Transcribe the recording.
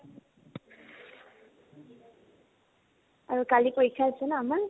আৰু কালি পৰীক্ষা আছে ন আমাৰ?